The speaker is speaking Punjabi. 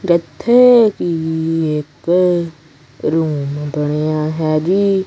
ਇੱਥੇ ਵੀ ਇੱਕ ਰੂਮ ਬਣਿਆ ਹੈ ਜੀ।